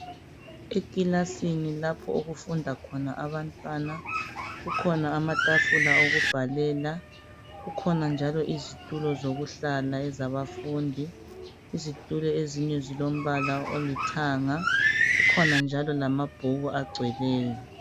Ekilasini lapho okufunda khona abantwana kukhona amatafula okubhalela kukhona njalo izitulo zokuhlala ezabafundi izitulo ezinye zilombala olithanga kukhona njalo lamabhuku agcweleyo.